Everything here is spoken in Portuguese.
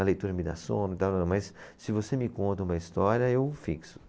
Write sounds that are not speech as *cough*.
A leitura me dá sono, *unintelligible* mas se você me conta uma história, eu fixo.